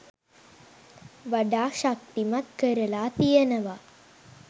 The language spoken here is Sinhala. වඩා ශක්තිමත් කරලා තියෙනවා